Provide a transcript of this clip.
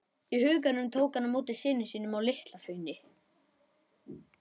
í huganum tók hann á móti syni sínum á LitlaHrauni.